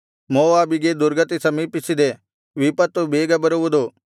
ಮೋವಾಬಿಗೆ ದುರ್ಗತಿ ಸಮೀಪಿಸಿದೆ ವಿಪತ್ತು ಬೇಗ ಬರುವುದು